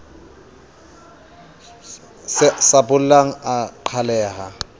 sa bollang a a qhaleha